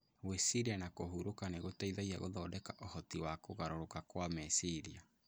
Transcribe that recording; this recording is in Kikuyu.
Gwĩciria na kũhurũka nĩ gũteithagia gũthondeka ũhoti wa kũgarũrũka kwa meciria